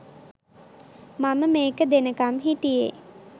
මම මේක දෙනකම් හිටියේ